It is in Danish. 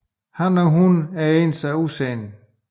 Han og hun er ens af udseende